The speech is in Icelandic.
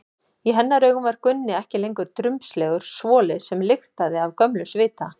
Í hennar augum var Gunni ekki lengur drumbslegur svoli sem lyktaði af gömlum svita.